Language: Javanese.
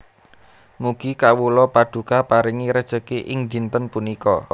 Mugi kawula Paduka paringi rejeki ing dinten punika